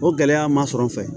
O gɛlɛya ma sɔrɔ n fɛ